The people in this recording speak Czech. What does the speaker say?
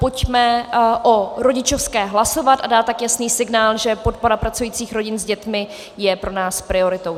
Pojďme o rodičovské hlasovat a dát tak jasný signál, že podpora pracujících rodin s dětmi je pro nás prioritou.